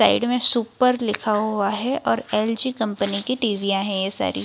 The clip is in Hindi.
साइड में सुपर लिखा हुआ है और एल.जी. कंपनी की टी.वी. याँ हैं ये सारी।